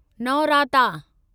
नौराता